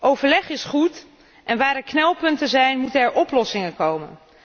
Overleg is goed en waar knelpunten zijn moeten oplossingen komen.